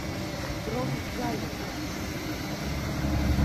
дрон галин